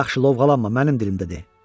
Yaxşı, lovğalanma, mənim dilimdə de.